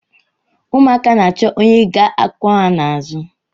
Ụmụaka na-achọ onye ga-akwọ ha n’azụ